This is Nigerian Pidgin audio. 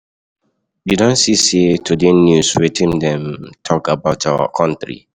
You don see today news? Wetin dem talk about our country?